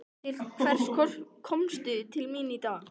Til hvers komstu til mín í dag?